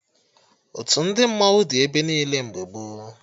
Otu ndị mmanwụ dị ebe niile mgbe gboo